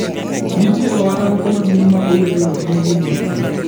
Nitie ohala moro maduong' ma owetego timo gi mor kich.